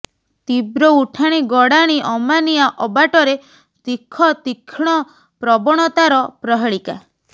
ତୀବ୍ର ଉଠାଣି ଗଡ଼ାଣି ଅମାନିଆ ଅବାଟରେ ତୀଖତୀକ୍ଷ୍ଣ ପ୍ରବଣତାର ପ୍ରହେଳିକା